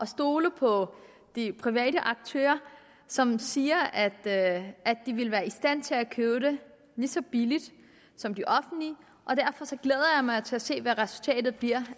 stole på de private aktører som siger at de vil være i stand til at købe lige så billigt som det offentlige og mig til at se hvad resultatet bliver